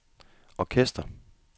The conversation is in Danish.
orkester